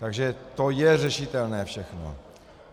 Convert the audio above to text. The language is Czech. Takže to je řešitelné všechno.